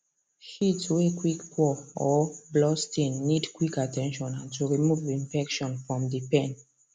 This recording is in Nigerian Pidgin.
shit way quick pour or blood stain needs quick at ten tion and to remove infection from the pen